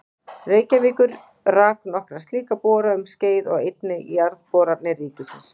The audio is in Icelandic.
Reykjavíkur rak nokkra slíka bora um skeið og einnig Jarðboranir ríkisins.